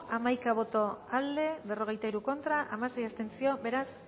bozka hamaika boto aldekoa berrogeita hiru contra hamasei abstentzio beraz